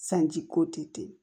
Sanji ko tɛ ten